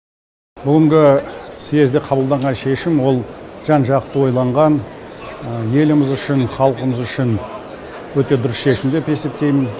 бүгінгі съезде қабылданған шешім ол жан жақты ойланған еліміз үшін халқымыз үшін өте дұрыс шешім деп есептеймін